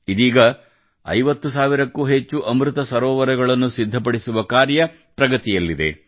ಇದೀಗ 50 ಸಾವಿರಕ್ಕೂ ಹೆಚ್ಚು ಅಮೃತ ಸರೋವರಗಳನ್ನು ಸಿದ್ಧಪಡಿಸುವ ಕಾರ್ಯ ಪ್ರಗತಿಯಲ್ಲಿದೆ